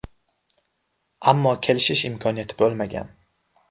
Ammo kelishish imkoniyati bo‘lmagan.